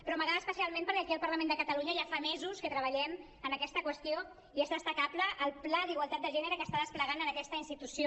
però m’agrada especialment perquè aquí al parlament de catalunya ja fa mesos que treballem en aquesta qüestió i és destacable el pla d’igualtat de gènere que s’està desplegant en aquesta institució